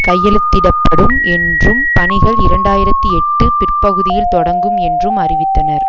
கையெழுத்திட படும் என்றும் பணிகள் இரண்டாயிரத்தி எட்டு பிற்பகுதியில் தொடங்கும் என்றும் அறிவித்தனர்